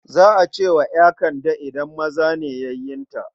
Za a ce wa ƴa Kande idan maza ne yayunta.